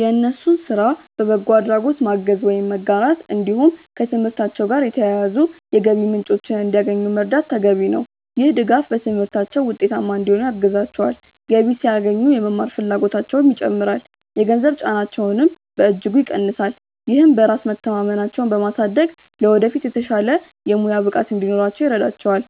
የእነሱን ስራ በበጎ አድራጎት ማገዝ ወይም መጋራት፣ እንዲሁም ከትምህርታቸው ጋር የተያያዙ የገቢ ምንጮችን እንዲያገኙ መርዳት ተገቢ ነው። ይህ ድጋፍ በትምህርታቸው ውጤታማ እንዲሆኑ ያግዛቸዋል፤ ገቢ ሲያገኙ የመማር ፍላጎታቸውም ይጨምራል፣ የገንዘብ ጫናቸውንም በእጅጉ ይቀንሳል። ይህም በራስ መተማመናቸውን በማሳደግ ለወደፊት የተሻለ የሙያ ብቃት እንዲኖራቸው ይረዳቸዋል።